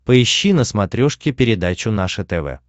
поищи на смотрешке передачу наше тв